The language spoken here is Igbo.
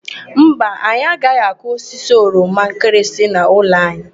Mba, anyị agaghị akụ osisi oroma nkịrịsị n'ụlọ anyị.